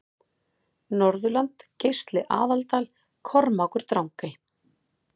Norðurland Geisli Aðaldal Kormákur Drangey